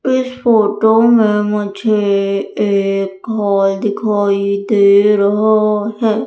इस फोटो में मुझे एक हॉल दिखाई दे रहा है।